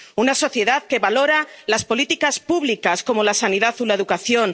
una sociedad que valora las políticas públicas, como la sanidad o la educación